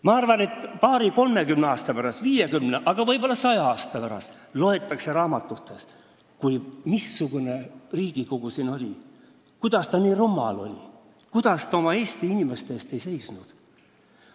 Ma arvan, et paari-kolmekümne aasta pärast, viiekümne, aga võib-olla ka saja aasta pärast loetakse raamatutest, missugune Riigikogu meil oli – kuidas ta nii rumal oli, kuidas ta oma Eesti inimeste eest ei seisnud.